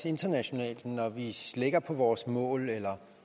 internationalt når vi slækker på vores mål eller